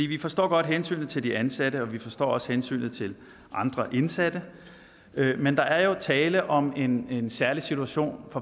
vi forstår godt hensynet til de ansatte og vi forstår også hensynet til andre indsatte men der er jo tale om en en særlig situation